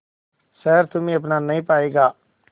शहर तुम्हे अपना नहीं पाएगा